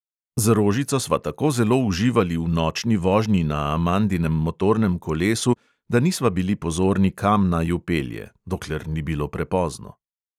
Z rožico sva tako zelo uživali v nočni vožnji na amandinem motornem kolesu, da nisva bili pozorni, kam naju pelje – dokler ni bilo prepozno.